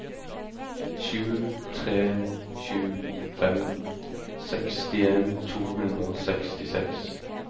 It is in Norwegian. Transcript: sju tre sju fem sekstien to hundre og sekstiseks